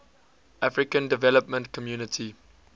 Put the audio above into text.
african development community